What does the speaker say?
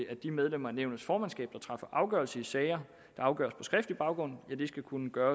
at de medlemmer af nævnets formandskab der træffer afgørelse i sager der afgøres på skriftlig baggrund skal kunne gøre